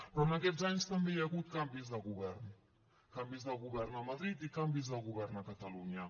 però en aquests anys també hi ha hagut canvis de govern canvis de govern a madrid i canvis de govern a catalunya